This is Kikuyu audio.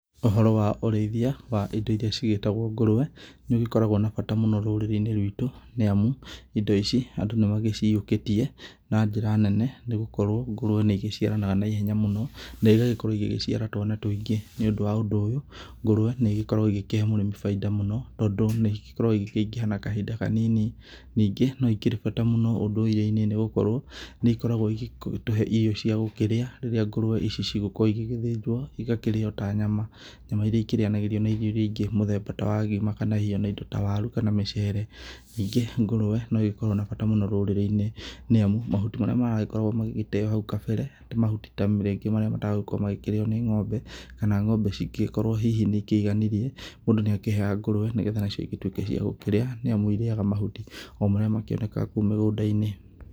Ũhoro wa ũreĩthĩa wa indo iria cigetagwo ngũrũwe nĩũkoragwo na bata rũrĩrĩ-inĩ rwito nĩ amũ indo ici andũ nĩmaciũĩkĩtĩe na njĩra nene, nĩgũkorwo ngũrũwe nĩ igĩciaranaga na ĩhenya mũno, na ĩgakorwo igĩciara twana tũingĩ nĩ ũndũ wa ũndũ ũyũ, ngũrũwe nĩkoragwo ĩgĩkĩhee mũrĩmĩ bainda mũno, tondũ nĩ ikoragwo ikĩingĩha na kahĩnda kanini. Nĩnge no ikĩre na bata ũndũire-inĩ nĩ gũkorwo nĩ ikoragwo igĩtũhee irio cia gũkĩrĩa rĩrĩa ngũrũwe ici igũkorwo igĩgĩthĩnjwo igakĩrĩo ta nyama, nyama irĩa ikĩrĩyanagĩrio na irio irĩa ingĩ, mũthemba ta wa ngima kana hĩhĩ indo ta warũ kana mĩcere. Ningĩ ngũrũwe nĩ ikoragwo na bata mũno rũrĩrĩ-inĩ nĩ amu, mahũti marĩa maragĩkoragwo magĩteo hau kabere, nĩ mahũti ta rĩngĩ matagũkorwo makĩrĩo nĩ ngombe, kana ngombe cingĩgĩkorwo hĩhĩ nĩ ikĩiganĩrĩe mũndũ, nĩakĩheyaga ngũrũwe nĩgetha nacio cigĩtũĩke cia gũkĩrĩa nĩ amũ, irĩaga mahũti o marĩa makĩonega o kũu mĩgũnda-inĩ.